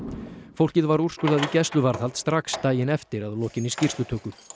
fólkið var úrskurðað í gæsluvarðhald strax daginn eftir að lokinni skýrslutöku